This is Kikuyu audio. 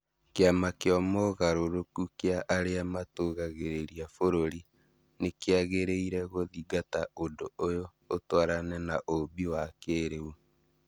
Kĩama kĩa moogarũrũku kĩa arĩa matũgagĩria bũrũri nĩkĩagĩrĩire gũthingata ũndũ ũyũ ũtwarane na ũũmbi wa kĩrĩu